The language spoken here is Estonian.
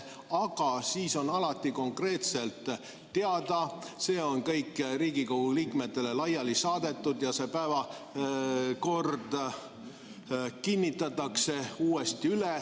Aga siis on alati konkreetselt teada, see on kõik Riigikogu liikmetele laiali saadetud ja päevakord kinnitatakse uuesti.